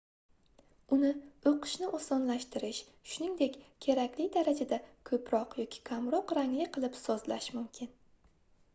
uni oʻqishni osonlashtirish shuningdek kerakli darajada koʻproq yoki kamroq rangli qilib sozlash mumkin